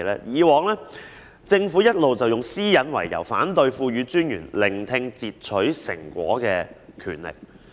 以往政府一直以私隱為由，反對賦予專員聆聽截取成果的權力。